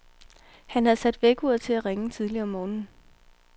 Han havde sat vækkeuret til at ringe tidligt om morgenen.